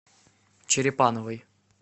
черепановой